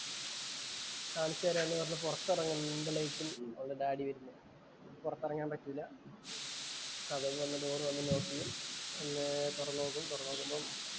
കാണിച്ചുതരാം എന്ന് പറഞ്ഞു പൊറത്ത് എറങ്ങുമ്പോഴേക്കും അവളുടെ ഡാഡി വരുന്നു. പൊറത്ത് എറങ്ങാന്‍ പറ്റിയില്ല. വന്നു ഡോർ വന്നു ലോക്ക് ചെയ്തു. വന്നു തൊറന്നു നോക്കും. തൊറന്നു നോക്കുമ്പം